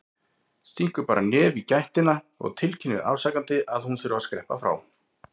Stingur bara nefi í gættina og tilkynnir afsakandi að hún þurfi að skreppa frá.